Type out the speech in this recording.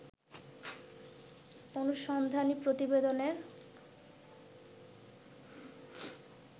অনুসন্ধানী প্রতিবেদনের